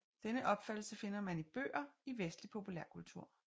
Denne opfattelse finder man i bøger i vestlig populærkultur